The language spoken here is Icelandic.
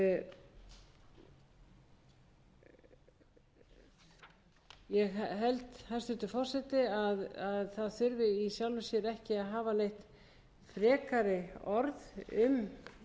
frumvarp ég held hæstvirtur forseti að í sjálfu sér þurfi ekki að hafa neitt frekari orð um